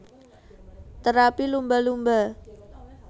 Terapi Lumba Lumba